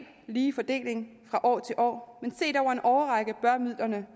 lige fordeling fra år til år men set over en årrække bør midlerne